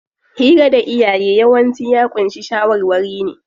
Hira da iyaye yawanci ya ƙunshi shawarwari ne.